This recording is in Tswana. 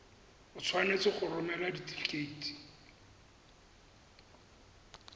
o tshwanetse go romela setefikeiti